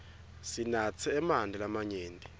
sinatse emanti lamanyenti